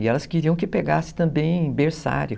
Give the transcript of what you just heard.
E elas queriam que pegassem também berçário.